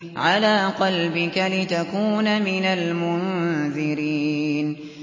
عَلَىٰ قَلْبِكَ لِتَكُونَ مِنَ الْمُنذِرِينَ